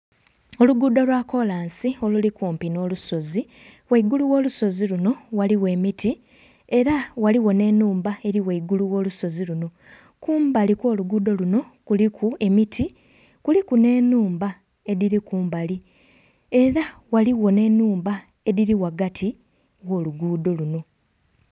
Oluguudo olwa kolansi oluli kumpi n'olusozi ghaigulu ogh'olusozi luno ghaligho emiti era ghaligho n'enhumba eri ghaigulu ogh'olusozi luno. Kumbali okw'oluguudo luno kuliku emiti kuliku n'enhumba edhiri kumbali ere ghaligho n'enhumba edhiri ghagati ogh'oluguudo luno.